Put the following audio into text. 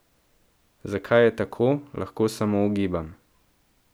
Zakaj je tako, lahko samo ugibam.